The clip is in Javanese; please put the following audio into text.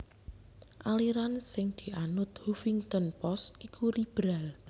aliran sing dianut Huffington Post iku liberal